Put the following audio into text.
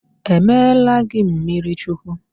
E meela gị mmirichukwu?